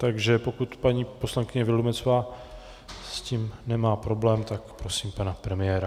Takže pokud paní poslankyně Vildumetzová s tím nemá problém, tak prosím pana premiéra.